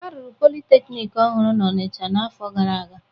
A rụrụ politeknik ọhụrụ n'Ọnịcha n'afọ gara aga.